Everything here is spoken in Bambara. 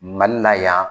Mali la yan